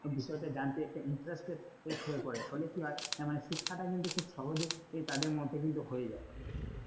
বিষয়টা জানতে interested হয়ে পড়ে হলে কি হয় শিক্ষাটা কিন্তু সহজেই তাদের মধ্যে হয়ে যায়,